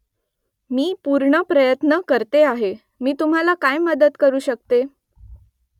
मी पूर्ण प्रयत्न करते आहे . मी तुम्हाला काय मदत करू शकते ?